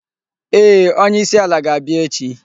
Ee, onye isi ala ga-abia echi